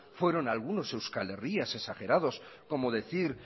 fueron algunos euskal herrias exagerados como decir